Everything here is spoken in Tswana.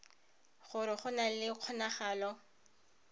gore go na le kgonagalo